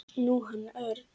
Nú, hann Örn.